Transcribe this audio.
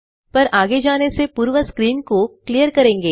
पर आगे जाने से पूर्व स्क्रीन को क्लियर करेंगे